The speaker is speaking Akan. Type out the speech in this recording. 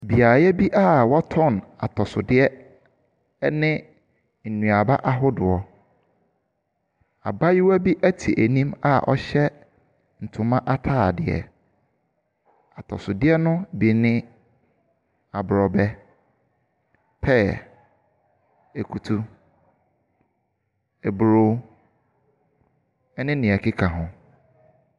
Abaayewa ne ti nwhi gu ne ho te akonnwa so. Ɛna waka ne nan ato so. Seree wɔ abaayewa yi anim. Basket nan esisi ne nkyɛn. Ɛna eduaba ɛne atosodeɛ ahodoɔ no ɛwɔ n'akyi.